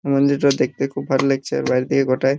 মন্দির তা দেখতে খুব ভাল লাগছে আর বাইরের দিকে গটাই--